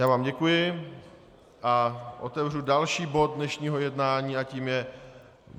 Já vám děkuji a otevřu další bod dnešního jednání a tím je